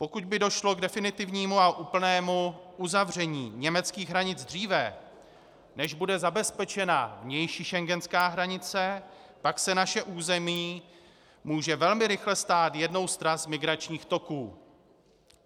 Pokud by došlo k definitivnímu a úplnému uzavření německých hranic dříve, než bude zabezpečena vnější schengenská hranice, pak se naše území může velmi rychle stát jednou z tras migračních toků.